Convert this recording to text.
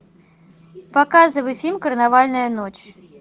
показывай фильм карнавальная ночь